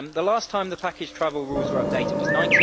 The last time the package travel rules were updated was in